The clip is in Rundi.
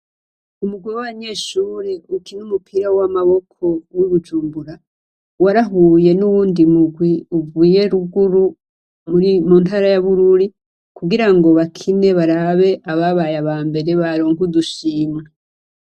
Umugwi w'abanyeshure ukina umupira w'amaboko w'i Bujumbura, warahuye n'uwundi mugwi uvuye ruguru mu ntara ya Bururi kugira ngo bakine barabe ababaye abambere baronke udushimwe.